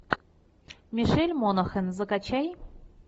мишель монахэн закачай